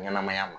Ɲɛnɛmaya ma